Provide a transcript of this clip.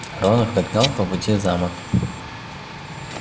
рон их догнал по пути в замок